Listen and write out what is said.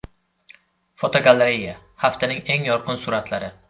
Fotogalereya: Haftaning eng yorqin suratlari.